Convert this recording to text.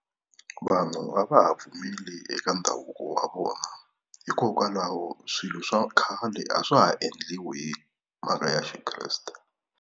Vanhu a va ha pfumeli eka ndhavuko wa vona, hikokwalaho swilo swa khale a swa ha endliwi mhaka ya Xikreste.